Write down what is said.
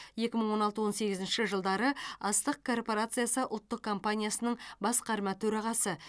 екі мың он алты он сегізінші жылдары астық корпорациясы ұлттық компаниясының басқарма төрағасы